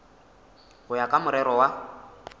go ya ka morero wa